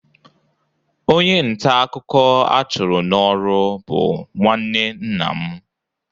onye nta akụkọ a chụrụ n'ọrụ bụ nwanne nna m.